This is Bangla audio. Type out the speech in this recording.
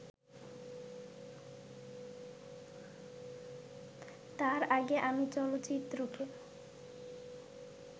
তার আগে আমি চলচ্চিত্রকে